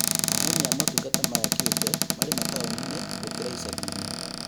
Aheani a motungata maya kĩũmbe marĩ mataũni-inĩ gũkĩra icagi inĩ